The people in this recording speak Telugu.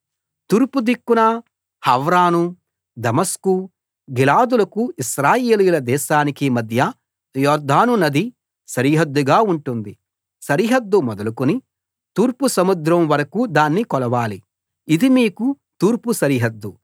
తూర్పుదిక్కున హవ్రాను దమస్కు గిలాదులకు ఇశ్రాయేలీయుల దేశానికి మధ్య యొర్దానునది సరిహద్దుగా ఉంటుంది సరిహద్దు మొదలుకొని తూర్పు సముద్రం వరకూ దాన్ని కొలవాలి ఇది మీకు తూర్పు సరిహద్దు